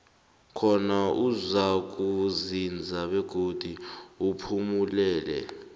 khona uzakuzinza begodi uphumelele